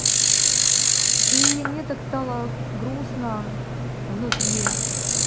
и мне так стало грустно внутри